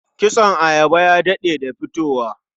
Kitson ayaba ya daɗe da fitowa.